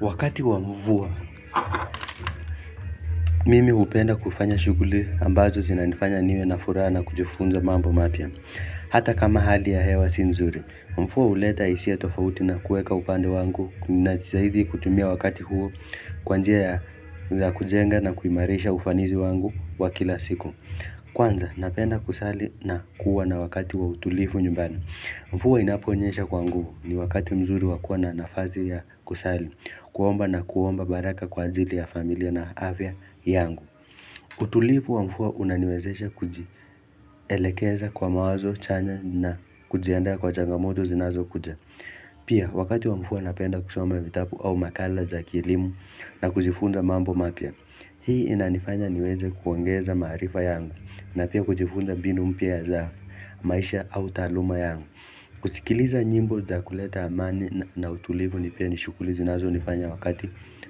Wakati wa mvua, mimi hupenda kufanya shughuli ambazo zinanifanya niwe na furaha na kujifunza mambo mapia. Hata kama hali ya hewa si nzuri, mvua uleta hisia tofauti na kueka upande wangu najitahidi kutumia wakati huo kwa njia ya za kujenga na kuimarisha ufanizi wangu wa kila siku. Kwanza, napenda kusali na kuwa na wakati wa utulifu nyumbani. Mvua inaponyesha kwa nguvu ni wakati mzuri wa kuwa na nafasi ya kusali, kuomba na kuomba baraka kwa ajili ya familia na afya yangu. Utulifu wa mvua unaniwezesha kujielekeza kwa mawazo chanya na kujiandaya kwa changamoto zinazokuja. Pia wakati wa mvua napenda kusoma vitabu au makala za kielimu na kujifunza mambo mapya. Hii inanifanya niweze kuongeza marifa yangu na pia kujifunda mbinu mpya za maisha au taluma yangu. Kusikiliza nyimbo za kuleta amani na utulivu ni pia ni shughuli zinazonifanya wakati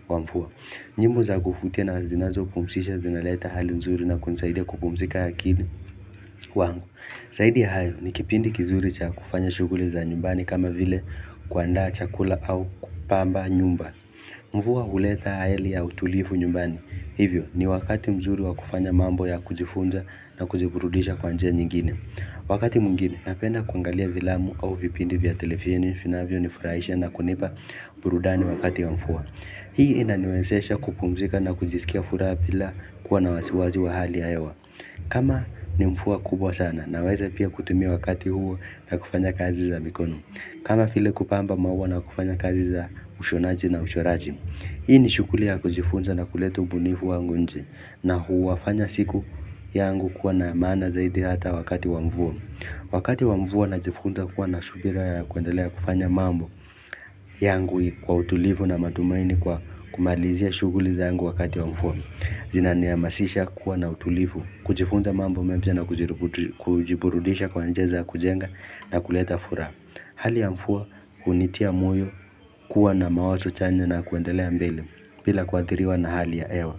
wa mvua nyimbo za kuvutia na zinazopumsisha zinaleta hali mzuri na kunisaidia kupumusika ya kidi wangu zaidi hayo ni kipindi kizuri cha kufanya shughuli za nyumbani kama vile kuanda chakula au kupamba nyumba Mvua huleta hali ya utulivu nyumbani Hivyo ni wakati mzuri wa kufanya mambo ya kujifunza na kujiburudisha kwa njia nyingine Wakati mwingine napenda kuangalia filamu au vipindi vya televisheni vinavyo nifuraisha na kunipa burudani wakati wa mvua Hii inaniwensesha kupumzika na kujisikia furaha bila kuwa na wasiwasi wa hali ya hewa kama ni mvuaa kubwa sana naweza pia kutumia wakati huo na kufanya kazi za mikono kama vile kupamba maua na kufanya kazi za ushonaji na uchoraji Hii ni shughuli kujifunza na kuleta ubunifu wangu nje na huu wafanya siku yangu kuwa na maana zaidi hata wakati wa mvua. Wakati wa mvua najifunza kuwa na subira ya kuendelea kufanya mambo yangu kwa utulifu na matumaini kwa kumalizia shukuliza yangu wakati wa mvua. Zinanihamasisha kuwa na utulifu kujifunza mambo mampya na kujiburudisha kwa njia za kujenga na kuleta furaha. Hali ya mvua hunitia moyo kuwa na mawazo chanya na kuendelea mbele bila kuadhiriwa na hali ya hewa.